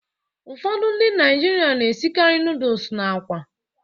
Ụfọdụ ndị Naịjirịa na-esikarị nọdụs na àkwá.